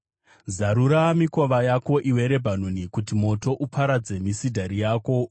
Zarura mikova yako, iwe Rebhanoni, kuti moto uparadze misidhari yako!